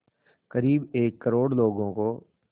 क़रीब एक करोड़ लोगों को